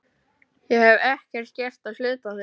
Ég hef ekkert gert á hluta þinn.